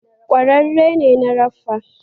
Kwararre ne na raffa